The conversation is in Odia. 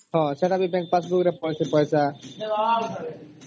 ହଁ ସେଟ ବି bank passbook ରେ ପଡିଛି ପଇସା